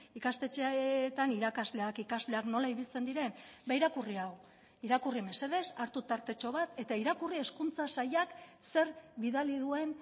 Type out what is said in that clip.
ikastetxeetan irakasleak ikasleak nola ibiltzen diren ba irakurri hau irakurri mesedez hartu tartetxo bat eta irakurri hezkuntza sailak zer bidali duen